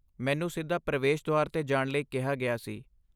ਮੈਨੂੰ ਸਿੱਧਾ ਪ੍ਰਵੇਸ਼ ਦੁਆਰ 'ਤੇ ਜਾਣ ਲਈ ਕਿਹਾ ਗਿਆ ਸੀ।